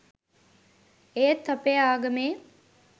ඒත් අපේ ආගමේ